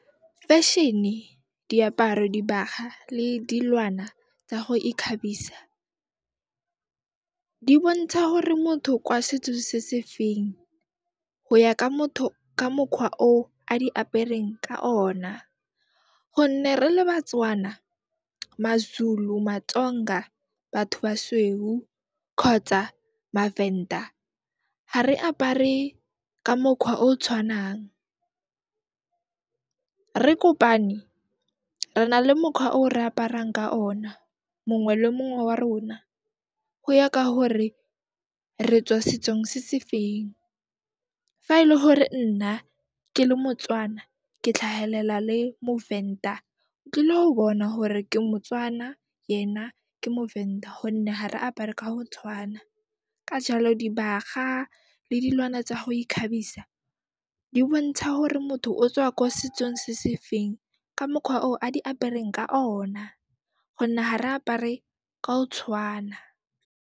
Fashion-e, diaparo, dibaga le dilwana tsa go ikhabisa, di bontsha hore motho kwa setso se se feng, go ya ka motho, ka mokgwa o a di apereng ka ona gonne re le Batswana, maZulu, maTsonga, batho basweu kgotsa maVenda, ha re apare ka mokhwa o tshwanang. Re kopane, re na le mokhwa o re aparang ka ona, mongwe le mongwe wa rona go ya ka hore re tswa setsong se se feng. Fa e le hore nna ke le Motswana ke tlhahelela le moVenda, o tlile ho bona hore ke Motswana yena ke moVenda gonne ha re apare ka ho tshwana. Ka jaalo, dibaga le dilwana tsa go ikgabisa di bontsha hore motho o tswa ko setsong se se feng ka mokhwa o a di apereng ka ona gonne ha re apare ka o tshwana.